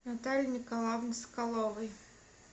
наталии николаевны соколовой